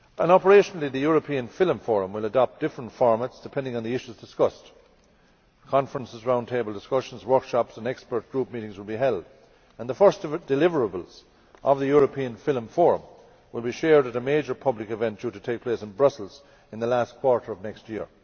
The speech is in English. Operationally the European Film Forum will adopt different formats depending on the issues discussed. Conferences, round table discussions, workshops and expert group meetings will be held and the first deliverables of the European Film Forum will be shared at a major public event due to take place in Brussels in the last quarter of next year.